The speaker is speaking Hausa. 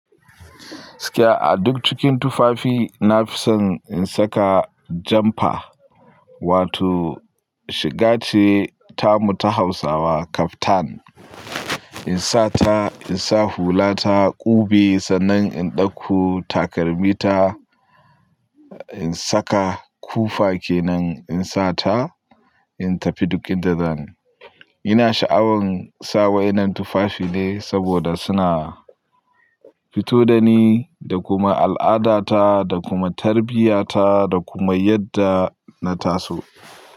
Gaskiya a duk cikin tufafi na fi son in saka jumper, wato shiga ce tamu ta Hausawa kaftan. In sa ta, in sa hula ta, ƙube sannan in ɗauko takalmi ta, in saka kufa ke nan in sa ta, in tafi duk inda zani. Ina sha'awan sa wa'innan tufafi ne saboda suna fito da ni da, kuma al'adata, da kuma tarbiya ta, da kuma yadda na taso.